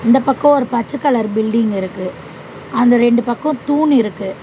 இந்த பக்கோ ஒரு பச்ச கலர் பில்டிங் இருக்கு அந்த ரெண்டு பக்கோ தூண் இருக்கு.